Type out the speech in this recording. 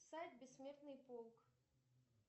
сайт бессмертный полк